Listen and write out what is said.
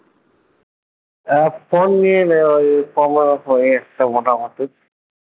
আহ phone নিয়ে মোটামুটি